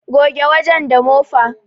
Goge wajen da mofa